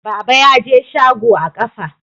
Baba ya je shago a ƙafa.